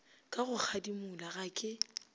ka go kgadimola ga ke